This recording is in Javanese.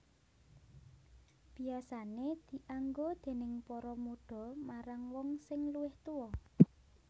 Biasané dianggo déning para mudha marang wong sing luwih tuwa